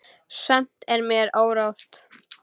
Samt er mér órótt.